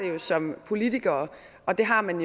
jo som politikere og det har man